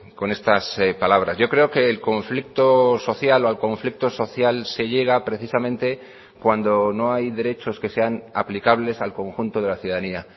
con estas palabras yo creo que el conflicto social o al conflicto social se llega precisamente cuando no hay derechos que sean aplicables al conjunto de la ciudadanía